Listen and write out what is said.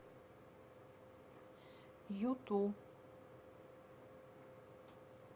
юту